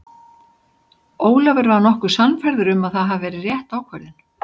Ólafur var nokkuð sannfærður að það hafi verið rétt ákvörðun.